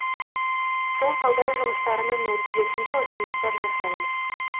сол талдау жұмыстарының нәтижесінде ұсыныстар жасаймыз